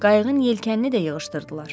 Qayığın yelkənini də yığışdırdılar.